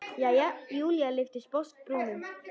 Jæja, Júlía lyfti sposk brúnum.